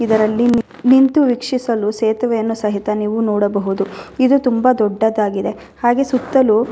ಇದರಲ್ಲಿ ನೀ ನಿಂತು ವೀಕ್ಷಿಸಲು ಸೇತುವೆಯನ್ನು ಸಹಿತ ನೀವು ನೋಡಬಹುದು ಇದು ತುಂಬ ದೊಡ್ಡದಾಗಿದೆ ಹಾಗೆ ಸುತ್ತಲು--